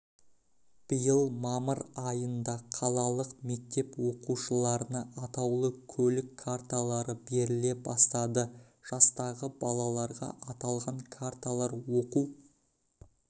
биыл мамыр айында қалалық мектеп оқушыларына атаулы көлік карталары беріле бастады жастағы балаларға аталған карталар оқу